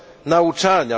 nauczania.